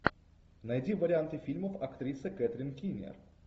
найди варианты фильмов актриса кэтрин кинер